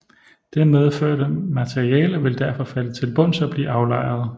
Det medførte materiale vil derfor falde til bunds og blive aflejret